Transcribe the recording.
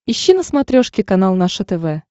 ищи на смотрешке канал наше тв